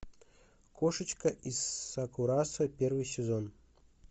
кошечка из сакурасо первый сезон